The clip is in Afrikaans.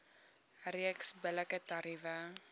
reeks billike tariewe